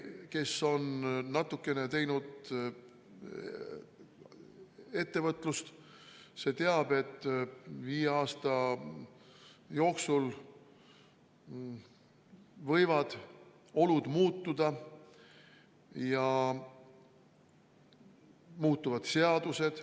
Kes on natukenegi ettevõtlusega tegelnud, see teab, et viie aasta jooksul võivad olud muutuda ja muutuvad ka seadused.